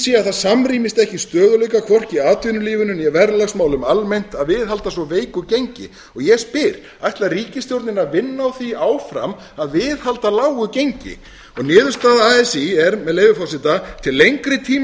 sé að það samrýmist ekki stöðugleika hvorki í atvinnulífinu né í verðlagsmálum almennt að viðhalda svo veiku gengi og ég spyr ætlar ríkisstjórnin að vinna að því áfram að viðhalda lágu gengi niðurstaða así er með leyfi forseta til lengri tíma